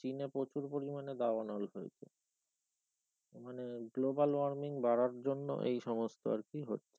আর চিনে প্রচুর পরিমাণে দাবানল হয়েছে মানে global warming বাড়ার জন্য এই সমস্ত আর কি হচ্ছে।